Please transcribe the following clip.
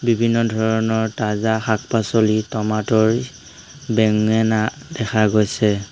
বিভিন্ন ধৰণৰ তাজা শাক পাচলি টমাটৰ বেঙেনা দেখা গৈছে।